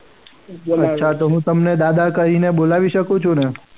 અચ્છા હું તમને દાદા કહીને બોલાવી શકું છું ને?